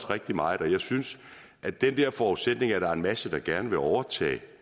rigtig meget og jeg synes at den der forudsætning om at der er en masse der gerne vil overtage